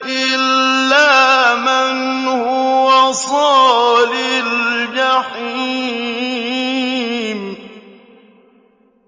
إِلَّا مَنْ هُوَ صَالِ الْجَحِيمِ